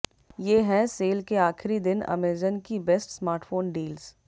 ये हैं सेल के आख़िरी दिन अमेज़न की बेस्ट स्मार्टफोन डील्स